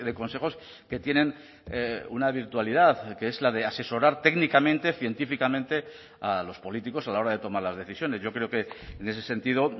consejos que tienen una virtualidad que es la de asesorar técnicamente científicamente a los políticos a la hora de tomar las decisiones yo creo que en ese sentido